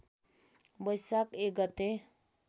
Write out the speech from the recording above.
बैशाख १ गते